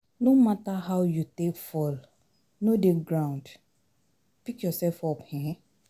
No matter how you take fall, no dey ground, pick yourself up um